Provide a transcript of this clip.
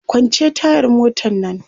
kwance tayar motan Nan!